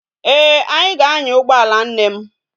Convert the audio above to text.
Ee, anyi ga anya ugboala nne m